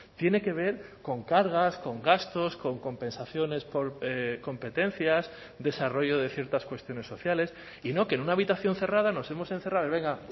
tiene que ver con cargas con gastos con compensaciones por competencias desarrollo de ciertas cuestiones sociales y no que en una habitación cerrada nos hemos encerrado y venga